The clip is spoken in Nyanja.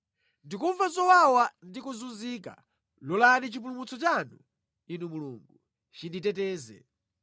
Ndikumva zowawa ndi kuzunzika; lolani chipulumutso chanu, Inu Mulungu, chinditeteze.